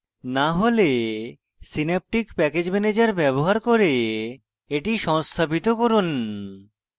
না হলে synaptic package manager ব্যবহার করে এটি সংস্থাপিত করুন